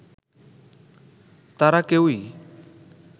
তারা কেউই